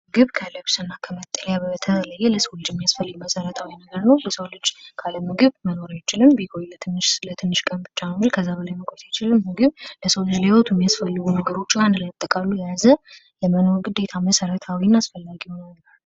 ምግብ ከልብስ እና ከመጠለያ በተለየ ለሰው ልጅ የሚያስፈልግ መሰረታዊ ነገር ነው የሰው ልጅ ካለ ምግብ መኖር አይችልም። ቢቆይ ለትንሽ ቀን ብቻ ነው እንጂ ከዛ በላይ መቆየት አይችልም። ምግብ ለሰው ልጅ ለህወይወቱ የሚስፈልጉ አንድ ላይ አጠቃሎ የያዘ ለመኖር ግዴታ መሠረታዊ እና አስፈላጊ የሆነ ነው።